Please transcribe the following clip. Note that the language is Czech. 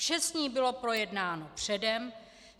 Vše s ní bylo projednáno předem.